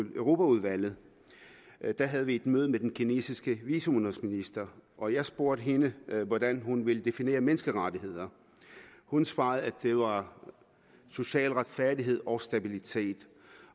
europaudvalget et møde med den kinesiske viceudenrigsminister og jeg spurgte hende hvordan hun ville definere menneskerettigheder hun svarede at det var social retfærdighed og stabilitet